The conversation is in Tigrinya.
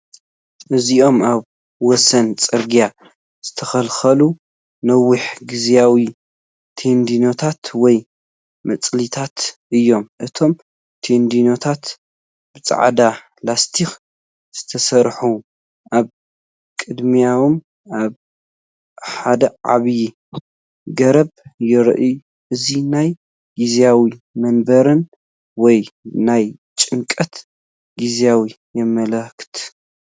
እዚኦም ኣብ ወሰን ጽርግያ ዝተተኽሉ ነዊሕ ግዝያዊ ቴንዳታት ወይ መጽለሊታት እዮም። እቶም ቴንዳታት ብጻዕዳ ላስቲክ ዝተሰርሑ፣ ኣብ ቅድሚኦም ሓደ ዓብይ ገረብ ይርአ። እዚ ናይ ግዝያዊ መንበርን ወይ ናይ ጭንቀት ጊዜን የመላኽት።